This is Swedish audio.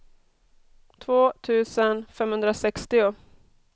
två tusen femhundrasextio